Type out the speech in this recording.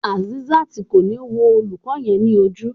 Azeezat ko ni wo olùkọ yẹn ni ojú.